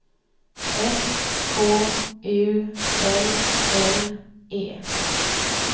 S K U L L E